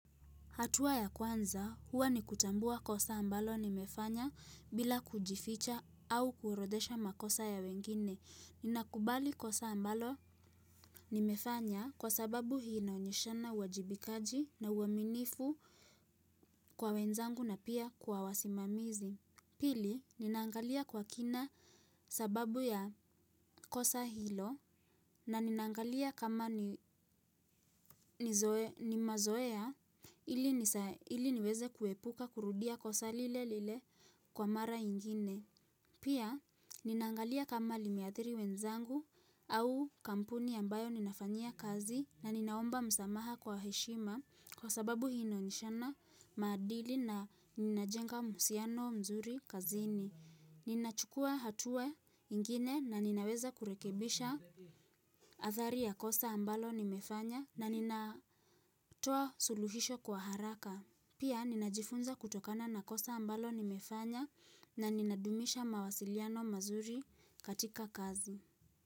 Hatua ya kwanza, huwa ni kutambua kosa ambalo nimefanya bila kujificha au kuorodesha makosa ya wengine. Ninakubali kosa ambalo nimefanya kwa sababu hii inaonyeshana uwajibikaji na uaminifu kwa wenzangu na pia kwa wasimamizi. Pili, ninaangalia kwa kina sababu ya kosa hilo na ninaangalia kama ni mazoea ili niweze kuepuka kurudia kosa lile lile kwa mara ingine. Pia, ninangalia kama limeathiri wenzangu au kampuni ambayo ninafanyia kazi na nina omba msamaha kwa heshima kwa sababu hii inaonyeshana maadili na ninajenga mahusiano mzuri kazini. Nina chukua hatua ingine na ninaweza kurekebisha athari ya kosa ambalo nimefanya na nina toa suluhisho kwa haraka. Pia ninajifunza kutokana na kosa ambalo nimefanya na nina dumisha mawasiliano mazuri katika kazi.